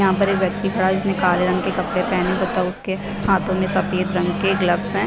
यहाँ पर एक व्यक्ति खड़ा है काले रंग के कपडे पहने हुए है उनके हाथो में सफ़ेद रंग के ग्लव्स है।